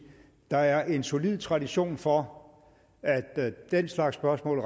der er en solid tradition for at den slags spørgsmål